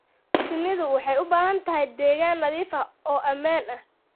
Shinnidu waxay u baahan tahay deegaan nadiif ah oo ammaan ah.